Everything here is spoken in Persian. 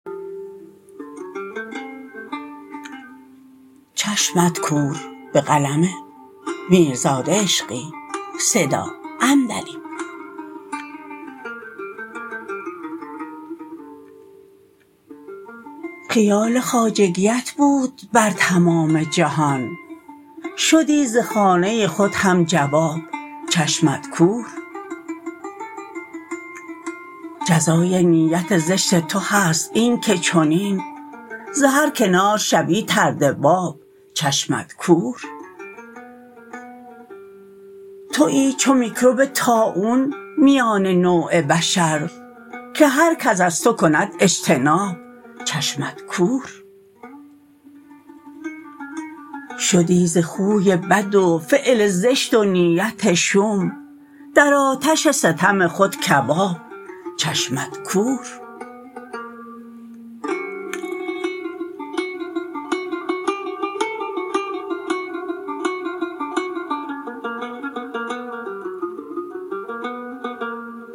خیال خواجگیت بود بر تمام جهان شدی ز خانه خود هم جواب چشمت کور جزای نیت زشت تو هست این که چنین ز هر کنار شوی طرد باب چشمت کور تویی چو میکروب طاعون میان نوع بشر که هرکس از تو کند اجتناب چشمت کور شدی ز خوی بد و فعل زشت و نیت شوم در آتش ستم خود کباب چشمت کور